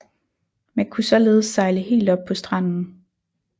Man kunne således sejle helt op på stranden